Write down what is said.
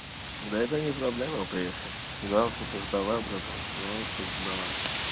да это не проблема приехать главное чтобы ждала братан ну чтобы ждала